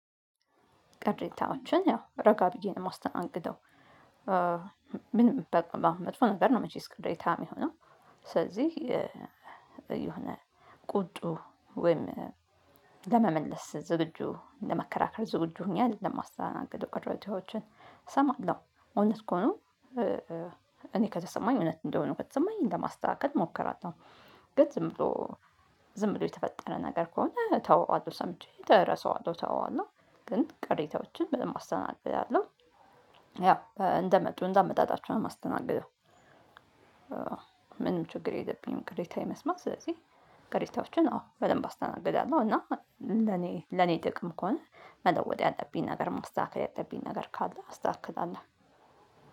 ቅሬታዎችን ያው ረጋ ብዬ ነው የማስተናግደው። ምንም በቃ መጥፎ ነገር ነው መቼስ ቅሬታ የሚሆነው። ስለዚህ የሆነ ቁጡ ወይም ለመመለስ ዝግጁ ለመከራከር ዝግጁ ሆኜ አደለም የማስተናገድው ቅሪታዎቹን እሰማለሁ እውነት ከሆኑ እኔ ከተሰማኝ እውነት እንደሆነ ከተሰማኝ ለማስተካከል እሞክራለሁ። ግን ዝም ብሎ ዝም ብሎ የተፈጠረ ነገር ከሆነ እተወዋለሁ ሰምቼ እረሰዋለሁ እተወዋለሁ። ግን ቅሬታዎችን በደንብ አስተናግዳለሁ። ያው እንደመጡ እንደመጣጣቸው ነው የማስተናግደው። ምንም ችግር የለብኝም። ቅሬታ የመስማት ስለዚህ ቅሬታዎችን አዎ በደንብ አስተናግዳለሁ። እና ለኔ ለኔ ጥቅም ከሆነ መለወጥ ያለብኝ ነገር ማስተካከል ያለብኝ ነገር ካለ አስተካክላለሁ።